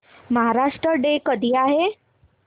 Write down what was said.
Maharashtra day कधी आहे